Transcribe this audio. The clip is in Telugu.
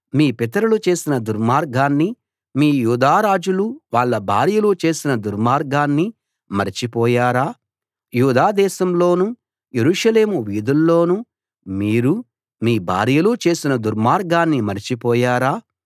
మీ పితరులు చేసిన దుర్మార్గాన్నీ మీ యూదా రాజులూ వాళ్ళ భార్యలూ చేసిన దుర్మార్గాన్నీ మరచిపోయారా యూదా దేశంలోనూ యెరూషలేము వీధుల్లోనూ మీరూ మీ భార్యలూ చేసిన దుర్మార్గాన్ని మరచిపోయారా